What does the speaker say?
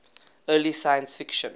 early science fiction